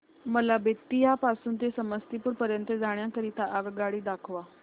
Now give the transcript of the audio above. मला बेत्तीयाह पासून ते समस्तीपुर पर्यंत जाण्या करीता आगगाडी दाखवा